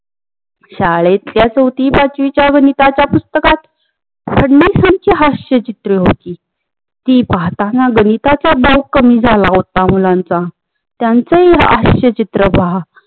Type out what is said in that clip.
शाळेतल्या चौथी पाचवीच्या गणिताच्या पुस्तकात फडणवीसांची हास्य चित्र होती. ती पाहताना गणिताच मार्क कम्मी झाल होता मुलांचा त्याचं हे हास्य चित्र पहा